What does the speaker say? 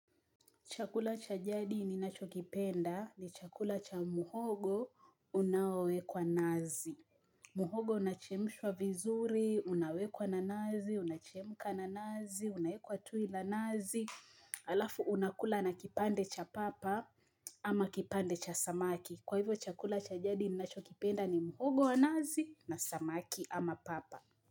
Chakula cha jadi ninacho kipenda ni chakula cha muhogo unaowekwa nazi. Muhogo unachemushwa vizuri, unawekwa na nazi, unachemuka na nazi, unaekwa tu na nazi. Alafu unakula na kipande cha papa ama kipande cha samaki. Kwa hivyo chakula cha jadi ninacho kipenda ni muhogo wa nazi na samaki ama papa.